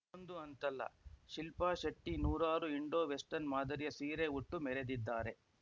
ಇದೊಂದು ಅಂತಲ್ಲ ಶಿಲ್ಪಾ ಶೆಟ್ಟಿನೂರಾರು ಇಂಡೋ ವೆಸ್ಟನ್‌ ಮಾದರಿಯ ಸೀರೆ ಉಟ್ಟು ಮೆರೆದಿದ್ದಾರೆ